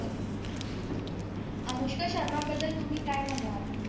अनुष्का शर्मा बद्दल तुम्ही काय म्हणाल